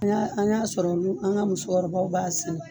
An y'a an y'a sɔrɔ an ka musokɔrɔbaw b'a sɛnɛ